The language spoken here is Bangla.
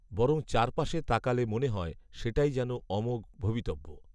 বরং চার পাশে তাকালে মনে হয় সেটাই যেন অমোঘ ভবিতব্য